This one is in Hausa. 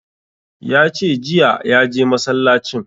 Ya ce jiya ya je masallacin